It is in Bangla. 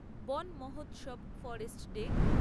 Van Mahotsav forest day